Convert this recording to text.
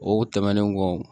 O tɛmɛnen kɔ